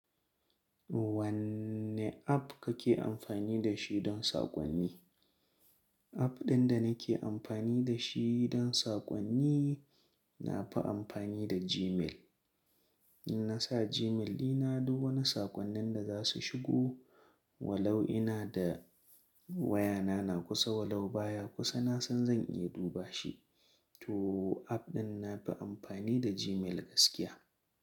Wanne app kake amfani da shi don saƙonni? App ɗin da nake amfani da shi don saƙonni, na fi amfani da Gmail. Na sa Gmail dina duk wani saƙonnin da za su shigo, wa lau ina da wayana na kusa walau baya kusa, na san zan iya duba shi. To app ɗin na fi amfani da Gmail gaskiya.